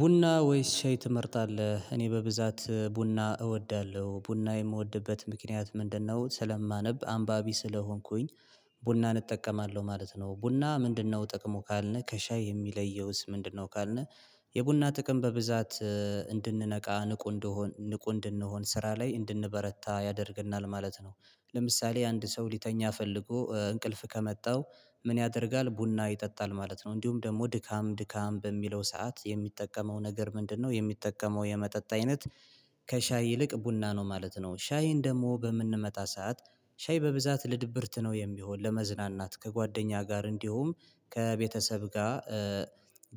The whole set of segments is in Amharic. ቡና ወይስ ሻይ ትመርጣለህ እኔ በብዛት ቡና እወዳለሁ ቡና የምወድበት ምክንያት ምንድነው ስለማነብ አንባቢ ስለሆንኩኝ ቡናን እጠቀማለሁ ማለት ነው ቡና ምንድነው ጥቅሙ ካልነህ ከሻይስ የሚለየውስ ምንድነው ካልነ የቡና ጥቅም በብዛት እንድንነቃ ንቁ እንደሆን ንቁ እንደሆን ስራ ላይ እንድንበረታ ያደርግናል ማለት ነው ለምሳሌ አንድ ሰው ሊተኛ ፈልጎ እንቅልፍ ከመጣው ምን ያደርጋል ቡና ይጠጣል ማለት ነው እንዲሁም ደግሞ ድካም ድካም በሚለው ሰዓት የሚጠቀመው ነገር ምንድነው የሚጠቀመው የመጠጥ አይነት ከሻይ ይልቅ ቡና ነው ማለት ነው ሻይን ደግሞ በምንመጣ ሰዓት ሻይ በብዛት ለድብርት ነው የሚሆን ለመዝናናት ከጓደኛ ጋር እንዲሁም ከቤተሰብ ጋር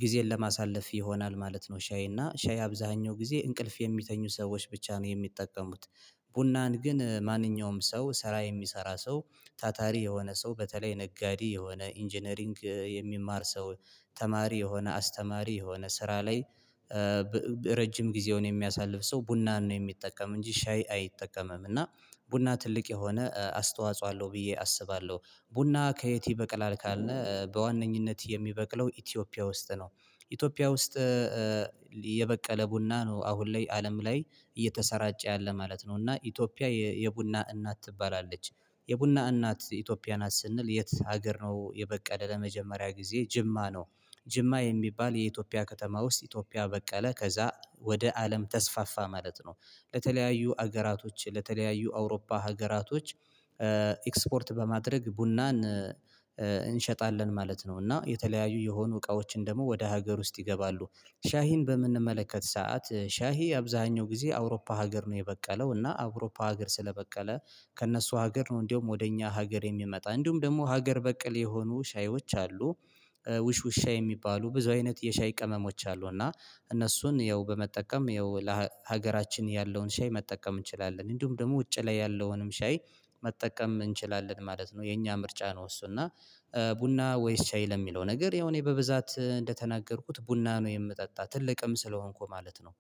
ጊዜን ለማሳለፍ ይሆናል ማለት ነው ሻይ እና ሻይ አብዛኛው ጊዜ እንቅልፍ የሚተኙ ሰዎች ብቻ ነው የሚጠቀሙት ቡናን ግን ማንኛውም ሰው ስራ የሚሰራ ሰው ታታሪ የሆነ ሰው በተለይ ነጋዴ የሆነ ኢንጂነሪንግ የሚማር ሰው ተማሪ የሆነ አስተማሪ የሆነ ስራ ላይ ረጅም ጊዜውን የሚያሳልፍ ሰው ቡናን ነው የሚጠቀም እንጂ ሻይ አይጠቀምም እና ቡና ትልቅ የሆነ አስተዋጽኦ አለው ብዬ አስባለሁ ቡና ከየት ይበቅላል ካልነ በዋነኝነት የሚበቅለው ኢትዮጵያ ውስጥ ነው ኢትዮጵያ ውስጥ የበቀለ ቡና ነው አሁን ላይ አለም ላይ እየተሰራጨ ያለ ማለት ነው እና ኢትዮጵያ የቡና እናት ትባላለች የቡና እናት ኢትዮጵያ ናት ስንል የት ሀገር ነው የበቀለ ለመጀመሪያ ጊዜ ጅማ ነው፤ ጅማ የሚባል የኢትዮጵያ ከተማ ውስጥ ኢትዮጵያ በቀለ ከዛ ወደ አለም ተስፋፋ ማለት ነው ለተለያዩ ሀገራቶች ለተለያዩ አውሮፓ ሀገራቶች ኤክስፖርት በማድረግ ቡናን እንሸጣለን ማለት ነው እና የተለያዩ የሆኑ እቃዎችን ደግሞ ወደ ሀገር ውስጥ ይገባሉ ሻሂን በምንመለከት ሰዓት ሻሂ አብዛኛው ጊዜ አውሮፓ ሀገር ነው የበቀለው እና አውሮፓ ሀገር ስለበቀለ ከእነሱ ሀገር ነው እንደውም ወደ እኛ ሀገር የሚመጣ እንዲሁም ደግሞ ሀገር በቅል የሆኑ ሻዮች አሉ ውሽውሻ የሚባሉ ብዙ አይነት የሻይ ቀመሞች አሉ እና እነሱን ያው በመጠቀም ያው ለሀገራችን ያለውን ሻይ መጠቀም እንችላለን እንዲሁም ደግሞ ውጭ ላይ ያለውንም ሻይ መጠቀም እንችላለን ማለት ነው የኛ ምርጫ ነው እሱ እና ቡና ወይስ ሻይ ለሚለው ነገር ያው እኔ በብዛት እንደተናገርኩት ቡና ነው የምጠጣ ትልቅም ስለሆንኩ ማለት ነው፤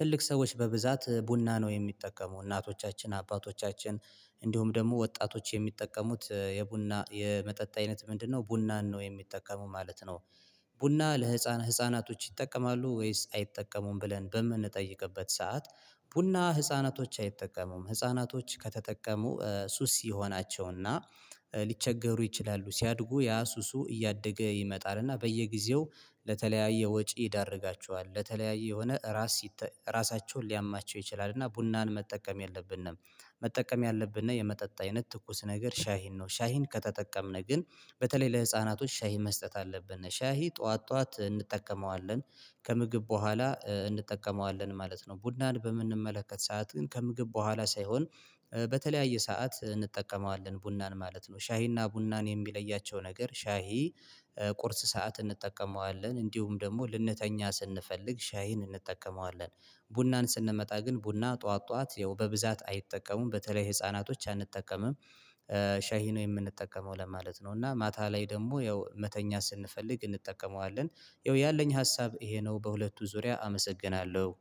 ትልቅ ሰዎች በብዛት ቡና ነው የሚጠቀሙ እናቶቻችን አባቶቻችን እንዲሁም ደግሞ ወጣቶች የሚጠቀሙት የቡና የመጠጥ አይነት ምንድነው ቡናን ነው የሚጠቀሙ ማለት ነው ቡና ለህፃን ህፃናቶች ይጠቀማሉ ወይስ አይጠቀሙም ብለን በምንጠይቅበት ሰዓት ቡና ህፃናቶች አይጠቀሙም ህፃናቶች ከተጠቀሙ ሱስ ይሆናቸውና ሊቸገሩ ይችላሉ ሲያድጉ ያ ሱሱ እያደገ ይመጣል እና በየጊዜው ለተለያየ ወጪ ይዳርጋቸዋል ለተለያየ የሆነ ራስ ራሳቸውን ሊያማቸው ይችላል እና ቡናን መጠቀም የለብንም። መጠቀም ያለብንና የመጠጥ አይነት ትኩስ ነገር ሻሂን ነው ሻሂን ከተጠቀምን ግን በተለይ ለህፃናቶች ሻሂን መስጠት አለብን ሻሂ ጠዋት ጠዋት እንጠቀመዋለን ከምግብ በኋላ እንጠቀመዋለን ማለት ነው ቡናን በምንመለከት ሰዓት ግን ከምግብ በኋላ ሳይሆን በተለያየ ሰዓት እንጠቀመዋለን ቡናን ማለት ነው ሻሂና ቡናን የሚለያቸው ነገር ሻሂ ቁርስ ሰዓት እንጠቀመዋለን እንዲሁም ደግሞ ልንተኛ ስንፈልግ ሻይን እንጠቀመዋለን ቡናን ስንመጣ ግን ቡና ጠዋት ጠዋት ያው በብዛት አይጠቀሙም በተለይ ህፃናቶች አንጠቀምም ሻሂ ነው የምንጠቀመው ለማለት ነው እና ማታ ላይ ደግሞ ያው መተኛት ስንፈልግ እንጠቀመዋለን ያው ያለኝ ሀሳብ ይሄ ነው በሁለቱ ዙሪያ አመሰግናለሁ።